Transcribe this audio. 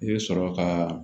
I bɛ sɔrɔ ka